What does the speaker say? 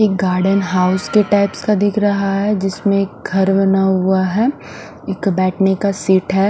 एक garden house के types का दिख रहा है जिसमें एक घर बना हुआ है एक बैठने का सीट है।